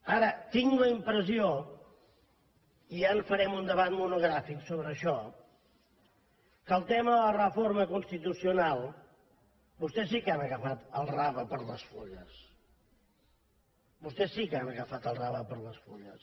ara tinc la impressió i ja en farem un debat monogràfic sobre això que en el tema de la reforma constitucional vostès sí que han agafat el rave per les fulles vostès sí que han agafat el rave per les fulles